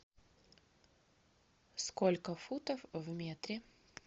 сколько футов в метре